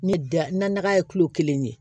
Ne da naga ye kelen ye